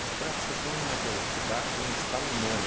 Bicicleta você tem uma velocidade em escala humana.